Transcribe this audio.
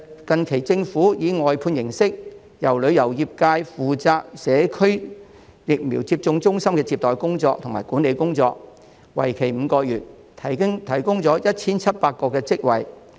近期，政府以外判形式，讓旅遊業界負責社區疫苗接種中心的接待和管理工作，為期5個月，提供了 1,700 個職位。